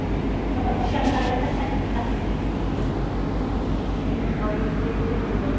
तुझा voice break होतोय.